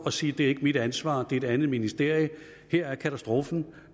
og sige det er ikke mit ansvar det er et andet ministerium her er katastrofen